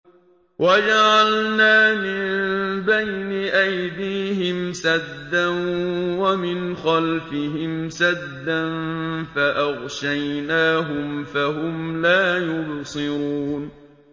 وَجَعَلْنَا مِن بَيْنِ أَيْدِيهِمْ سَدًّا وَمِنْ خَلْفِهِمْ سَدًّا فَأَغْشَيْنَاهُمْ فَهُمْ لَا يُبْصِرُونَ